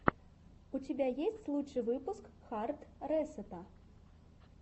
у тебя есть лучший выпуск хард ресэта